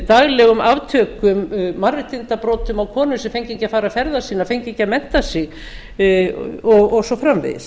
daglegum aftökum mannréttindabrotum á konum sem fengu ekki að fara ferða sinna fengu ekki að mennta sig og svo framvegis